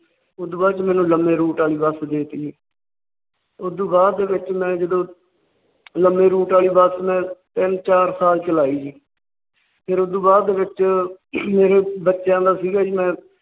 ਉਸ ਤੋਂ ਬਾਅਦ ਮੈਨੂੰ ਲੰਬੇ ਰੂਟ ਵੱਲ ਬੱਸ ਦੇਤੀ । ਉਸ ਤੋਂ ਬਾਅਦ ਦੇ ਵਿਚ ਮੈਂ ਜਦੋਂ ਲੰਬੇ ਰੂਟ ਵਾਲੀ ਬੱਸ ਮੈਂ ਤਿੰਨ ਚਾਰ ਸਾਲ ਚਲਾਈ। ਫਿਰ ਉਹ ਦੋ ਬਾਦ ਦੇ ਵਿਚ ਮੇਰੇ ਬੱਚਿਆਂ ਦਾ ਸੀ ਗਾ ਜੀ।